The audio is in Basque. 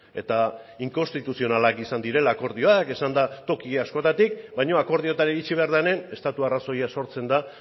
eta inkonstituzionalak izan direla akordioak esan da toki askotatik baina akordioetara iritsi behar denen estatu arrazoia sortzen da